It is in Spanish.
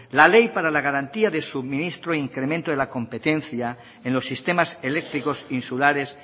la ley para la garantía de suministro incremento de la competencia en los sistemas eléctricos insulares